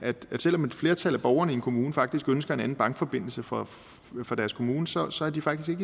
at selv om et flertal af borgerne i en kommune faktisk ønsker en anden bankforbindelse for for deres kommune så så er de faktisk